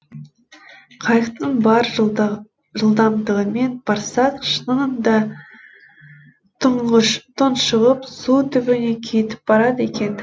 қайықтың бар жылдамдығымен барсақ шынында тұншығып су түбіне кетіп барады екен